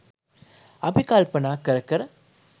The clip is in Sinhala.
අපි කල්පනා කර කර